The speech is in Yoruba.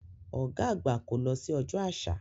Ọ̀gá àgbà kò lọ sí Ọjọ́ Àṣà.